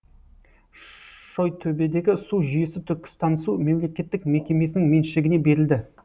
шойтөбедегі су жүйесі түркістансу мемлекеттік мекемесінің меншігіне берілді